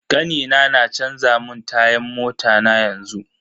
Kanina na canza mun tayan mota na yanzu.